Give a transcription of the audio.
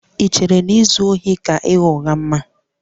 Ì chere na izu ohi ka ịgha ụgha mma?